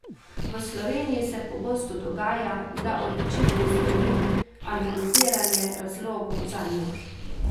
V Sloveniji se pogosto dogaja, da odločitvi sledi analiziranje razlogov zanjo.